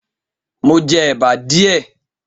Mo jẹ èbá díẹ̀.